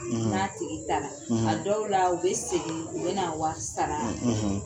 Na tigi taara; dɔw la u bɛ segin u bɛ na wari sara;